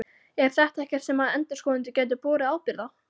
Er þetta ekkert sem að endurskoðendur gætu borið ábyrgð á?